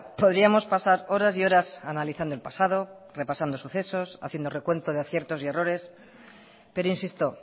podríamos pasar horas y horas analizando el pasado repasando sucesos haciendo recuento de aciertos y errores pero insisto